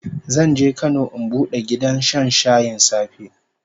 Zan je Kano in bude gidan shan shayin safe